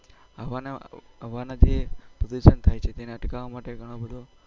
હવાના જે પ્રદુસન થાય છે તેને અટકાવવા માટે